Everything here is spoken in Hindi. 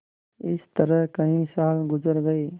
इस तरह कई साल गुजर गये